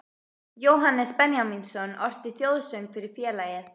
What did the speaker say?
Jóhannes Benjamínsson orti þjóðsöng fyrir félagið